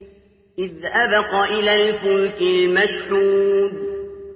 إِذْ أَبَقَ إِلَى الْفُلْكِ الْمَشْحُونِ